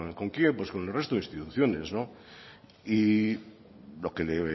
con quién pues con el resto de instituciones y lo que le